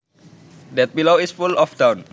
That pillow is full of down